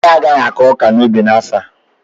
Anyị agaghị akụ ọka n'ubi anyị n'afọ a.